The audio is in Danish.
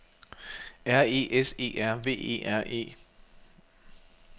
R E S E R V E R E